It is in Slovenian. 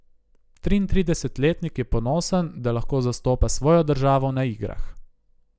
Triintridesetletnik je ponosen, da lahko zastopa svojo državo na igrah.